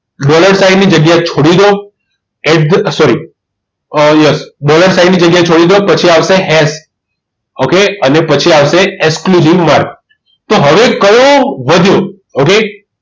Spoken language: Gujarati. Doller sign ની જગ્યા છોડી દો sorry yes dollar sign ની જગ્યા છોડી દો પછી આવશે હેસ okay અને પછી આવશે exclusive mark તો હવે કયો વધ્યો. હવે